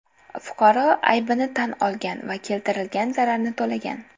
Fuqaro aybini tan olgan va keltirilgan zararni to‘lagan.